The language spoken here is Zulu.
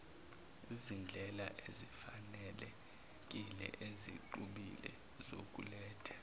izindlelaezifanelekile ezixubile zokuletha